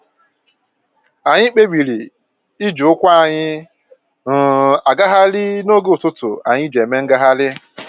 Anyị kpebiri iji ụkwụ anyị um agagharị n'oge ụtụtụ anyị ji eme ngagharị